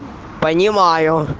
понимаю